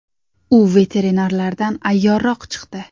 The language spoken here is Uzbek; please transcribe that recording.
U veterinarlardan ayyorroq chiqdi .